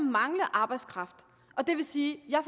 mangle arbejdskraft og det vil sige at jeg